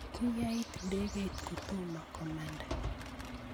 kiyait ndekeit kotomo komanda